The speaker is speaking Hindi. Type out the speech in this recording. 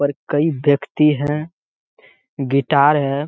और कई व्यक्ति है गिटार है।